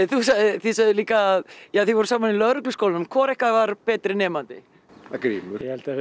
þið sögðuð líka að þið voruð saman í Lögregluskólanum hvor ykkar var betri nemandi grímur ég held að við